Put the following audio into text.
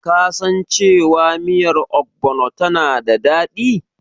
Kasan cewa miyar Ogbono tana da daɗi?